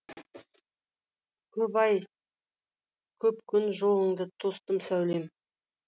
көп ай көп күн жолыңды тостым сәулем